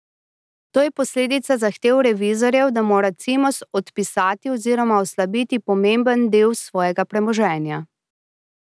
To je posledica zahtev revizorjev, da mora Cimos odpisati oziroma oslabiti pomemben del svojega premoženja.